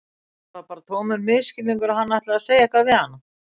Var það bara tómur misskilningur að hann ætlaði að segja eitthvað við hana?